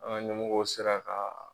An ka ɲɛmɔgɔ sera ka